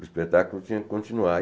O espetáculo tinha que continuar.